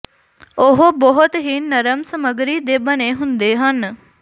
ਉਹ ਬਹੁਤ ਹੀ ਨਰਮ ਸਮੱਗਰੀ ਦੇ ਬਣੇ ਹੁੰਦੇ ਹਨ